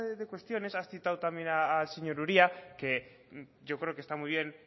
de cuestiones has citado también al señor uria que yo creo que está muy bien